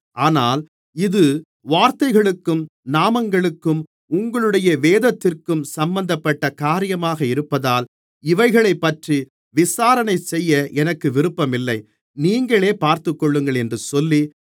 ஆனால் இது வார்த்தைகளுக்கும் நாமங்களுக்கும் உங்களுடைய வேதத்திற்கும் சம்பந்தப்பட்ட காரியமாக இருப்பதால் இவைகளைப்பற்றி விசாரணைசெய்ய எனக்கு விருப்பமில்லை நீங்களே பார்த்துக்கொள்ளுங்கள் என்று சொல்லி